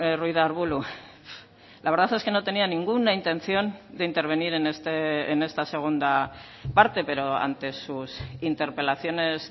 ruiz de arbulo la verdad es que no tenía ninguna intención de intervenir en esta segunda parte pero ante sus interpelaciones